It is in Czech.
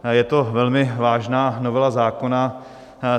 Je to velmi vážná novela zákona.